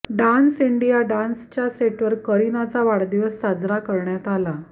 dance India डान्सच्या सेटवर करिनाचा वाढदिवस साजरा करण्यात आला